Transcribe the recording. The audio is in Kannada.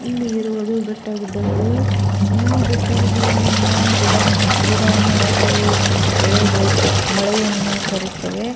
ಇಲ್ಲಿ ಇರುವುದು ಬೆಟ್ಟಗುಡ್ಡಗಳು ಈ ಬೆಟ್ಟಗುಡ್ಡಗಳಿಂದ ಗಿಡ ಮು ಗಿಡಮರಗಳು ಬೆಳೆಗಳು ಮಳೆಯನ್ನು ತರುತ್ತವೆ.